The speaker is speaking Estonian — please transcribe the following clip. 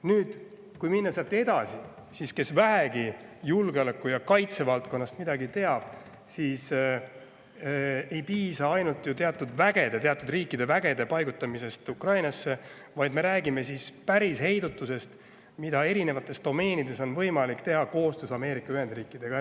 Nüüd, kui minna sealt edasi, siis kes vähegi julgeoleku- ja kaitsevaldkonnast midagi teab,, et ei piisa ainult teatud riikide vägede paigutamisest Ukrainasse, vaid me rääkima päris heidutusest, mida on võimalik teha koostöös Ameerika Ühendriikidega.